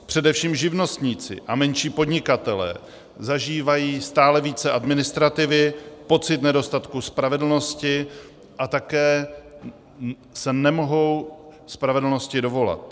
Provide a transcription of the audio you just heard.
Především živnostníci a menší podnikatelé zažívají stále více administrativy, pocit nedostatku spravedlnosti a také se nemohou spravedlnosti dovolat.